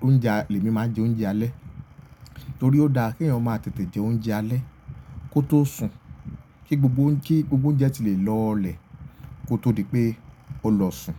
lòúnjẹ, èmi máa jẹ oúnjẹ alẹ́. Nítorí ó da kí eyan ma tètè jẹ oúnjẹ alẹ́ kó tó sùn, kí gbogbo oúnjẹ ti lè lọlẹ̀ kó tó di pé o lọ sùn.